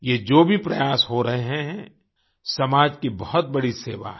ये जो भी प्रयास हो रहे हैं समाज की बहुत बड़ी सेवा है